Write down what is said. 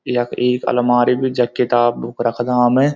यख एक अलमारी भी जख किताब बुक रखदा हम।